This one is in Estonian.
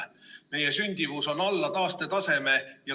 Meie sündimus on alla taastetaseme.